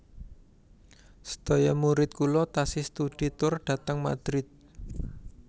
Sedaya murid kula tasih studi tur dhateng Madrid